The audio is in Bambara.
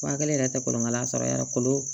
Waa kelen yɛrɛ tɛ kolokala sɔrɔ yara kolo